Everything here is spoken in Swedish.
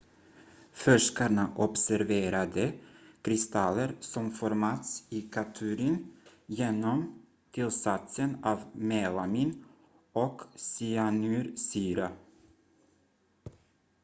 forskarna observerade kristaller som formats i katturin genom tillsatsen av melamin och cyanursyra